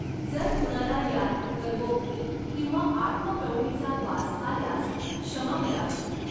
जर कुणाला यात गर्वोक्ती किंवा आत्मप्रौढीचा वास आल्यास क्षमा करावी.